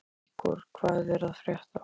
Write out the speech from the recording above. Ígor, hvað er að frétta?